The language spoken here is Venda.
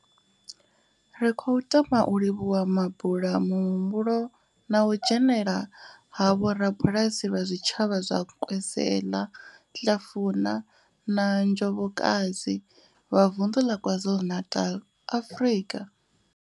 Ri khou tama u livhuwa mabulamuhumbulo na u dzhenela ha vhorabulasi vha zwitshavha zwa Nkwezela, Hlafuna na Njobokazi vha vunḓu la KwaZulu-Natal, Afrika.